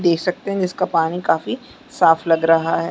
देख सकते है जिसका पानी काफी साफ लग रहा हैं ।